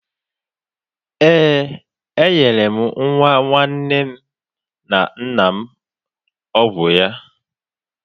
Ee, m nyere nwa nwanne na nna m ọgwụ ya.